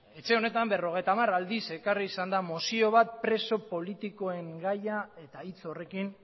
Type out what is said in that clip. etxe honetan berrogeita hamar aldiz ekarri izan da mozio bat preso politikoen gaia eta hitz horrekin